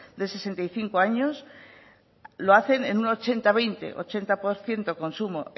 de sesenta y cinco años lo hacen en un ochenta veinte ochenta por ciento consumo